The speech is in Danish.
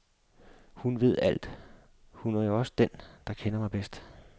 Hun ved alt, hun er jo også den, der kender mig bedst.